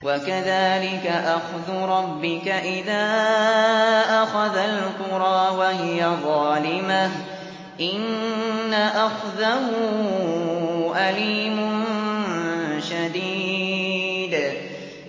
وَكَذَٰلِكَ أَخْذُ رَبِّكَ إِذَا أَخَذَ الْقُرَىٰ وَهِيَ ظَالِمَةٌ ۚ إِنَّ أَخْذَهُ أَلِيمٌ شَدِيدٌ